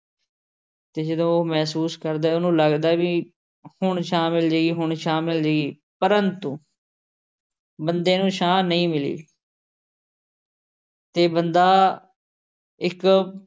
ਅਤੇ ਜਦੋਂ ਮਹਿਸੂਸ ਕਰਦਾ, ਉਹਨੂੰ ਲੱਗਦਾ ਬਈ ਹੁਣ ਛਾਂ ਮਿਲ ਜਾਏਗੀ, ਹੁਣ ਛਾਂ ਮਿਲ ਜਾਏਗੀ, ਪਰੰਤੂ ਬੰਦੇ ਨੂੰ ਛਾਂ ਨਹੀਂ ਮਿਲੀ। ਅਤੇ ਬੰਦਾ ਇੱਕ